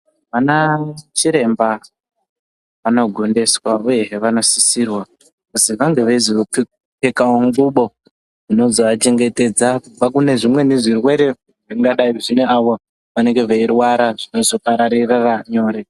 Ana chiremba anogondiswa uyezve vanosisirwa kuti vange veizopfekawo ngubo inozoachengetedza kubva kune zvimweni zvirwere zvingadai zvine ava vanenge veirwara zvinozopararira nyore.